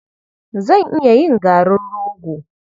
Zan iya yin garin rogo.